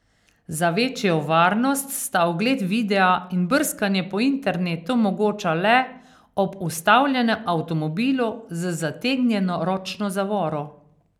Za večjo varnost sta ogled videa in brskanje po internetu mogoča le ob ustavljenem avtomobilu z zategnjeno ročno zavoro.